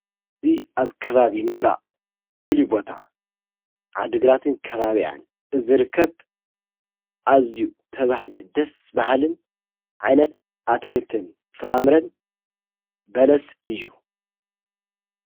እዙይ ኣብ ከባቢ ምብራእ ፉልይቦታ ዓድግራትን ከባቢያን እዘ ርከብ ኣዚ ተብሃገ ደስ ባሃልን ዓነት ኣትክልትን ፍራምርን በለስ እዩ::